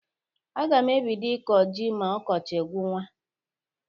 Aga m ebido ịkọ jị ma ọkọchị gwụwa.